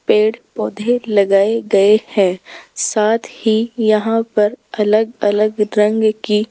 पेड़ पौधे लगाए गए हैं साथ ही यहां पर अलग अलग रंग की --